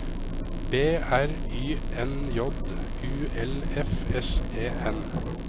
B R Y N J U L F S E N